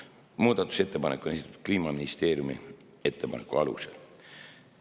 Muudatusettepanek on esitatud Kliimaministeeriumi ettepaneku alusel.